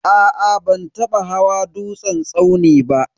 Aa ban taba hawa dutsen tsauni ba.